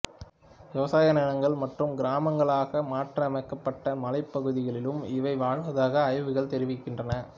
விவசாய நிலங்கள் மற்றும் கிராமங்களாக மாற்றியமைக்கப்பட்ட மலைப்பகுதிகளிலும் இவை வாழ்வதாக ஆய்வுகள் தெரிவிக்கின்றன